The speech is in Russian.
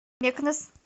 мекнес